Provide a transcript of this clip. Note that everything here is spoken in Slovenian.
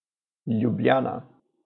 Ljubljana.